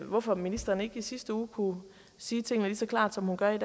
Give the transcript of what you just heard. hvorfor ministeren ikke i sidste uge kunne sige tingene lige så klart som hun gør